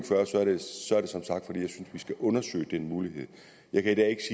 vi skal undersøge den mulighed jeg kan i dag